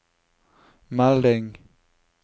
melding